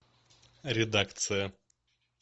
редакция